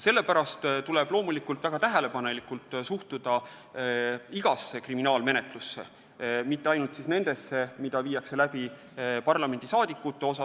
Sellepärast tuleb loomulikult väga tähelepanelikult suhtuda igasse kriminaalmenetlusse, mitte ainult nendesse, mida viiakse läbi parlamendisaadikute suhtes.